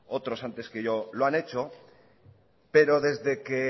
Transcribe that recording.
otros antes que yo lo han hecho pero desde que